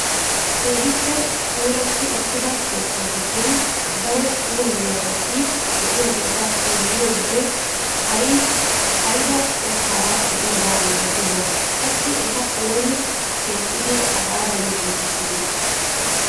Keehippe puulatti uttida keettaa giddon daro puulaiyaabati de'iyaageta xeelliyoo wode ayba qottaara de'iyaaba milatiyoonaa? qassi eta ooni keexxidi hagaadan giigissidee?